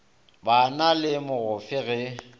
ba na le mogofe ge